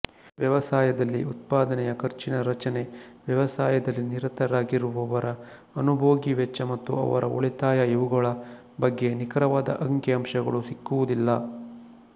ವ್ಯವಸಾಯದಲ್ಲಿ ಉತ್ಪಾದನೆಯ ಖರ್ಚಿನ ರಚನೆ ವ್ಯವಸಾಯದಲ್ಲಿ ನಿರತರಾಗಿರುವವರ ಅನುಭೋಗಿ ವೆಚ್ಚ ಮತ್ತು ಅವರ ಉಳಿತಾಯಇವುಗಳ ಬಗ್ಗೆ ನಿಖರವಾದ ಅಂಕಿಅಂಶಗಳು ಸಿಕ್ಕುವುದಿಲ್ಲ